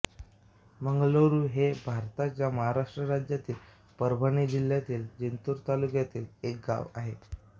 मंगरूळ हे भारताच्या महाराष्ट्र राज्यातील परभणी जिल्ह्यातील जिंतूर तालुक्यातील एक गाव आहे